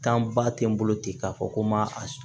ba tɛ n bolo ten k'a fɔ ko n ma a s